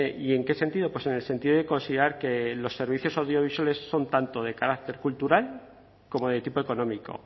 y en qué sentido pues en el sentido de considerar que los servicios audiovisuales son tanto de carácter cultural como de tipo económico